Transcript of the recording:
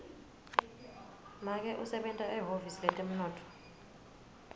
make usebenta ehhovisi letemnotfo